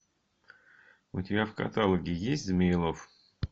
у тебя в каталоге есть змеелов